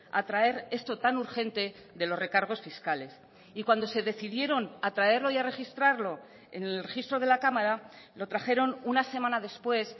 a traer esto tan urgente de los recargos fiscales y cuando se decidieron a traerlo y a registrarlo en el registro de la cámara lo trajeron una semana después